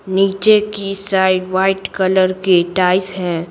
नीचे की side white colour के टाइज हैं।